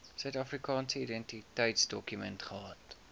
suidafrikaanse identiteitsdokument gehad